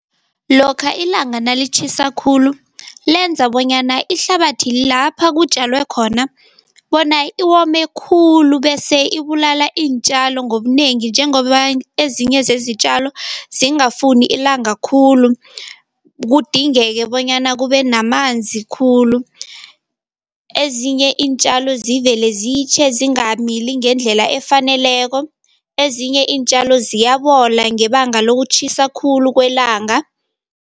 Lokha ilanga nalitjhisa khulu lenza bonyana ihlabathi lapha kutjalwe khona bona iwome khulu, bese ibulala iintjalo ngobunengi, njengoba ezinye zezitjalo zingafuni ilanga khulu kudingeke bonyana kube namanzi khulu. Ezinye iintjalo zivele zitjhe zingamili ngendlela efaneleko, ezinye iintjalo ziyabola ngebanga lokutjhisa khulu kwelanga.